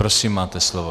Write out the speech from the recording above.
Prosím, máte slovo.